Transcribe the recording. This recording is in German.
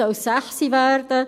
Jetzt soll es 18 Uhr werden.